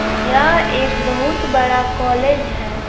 यह एक बहुत बड़ा कॉलेज है।